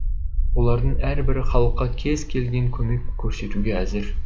олардың әрбірі халыққа кез келген көмек көрсетуге әзір